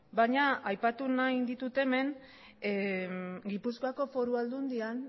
baina aipatu egin nahi ditut hemen gipuzkoako foru aldundian